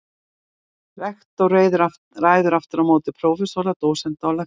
Rektor ræður aftur á móti prófessora, dósenta og lektora.